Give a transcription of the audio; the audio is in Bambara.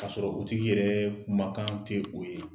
Ka sɔrɔ o tigi yɛrɛ kumakan ti o ye.